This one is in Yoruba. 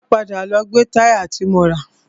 Máa padà lọ gbe táyà ti mo rà.